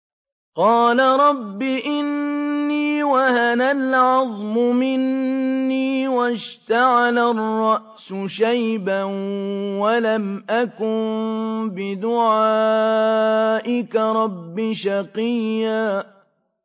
قَالَ رَبِّ إِنِّي وَهَنَ الْعَظْمُ مِنِّي وَاشْتَعَلَ الرَّأْسُ شَيْبًا وَلَمْ أَكُن بِدُعَائِكَ رَبِّ شَقِيًّا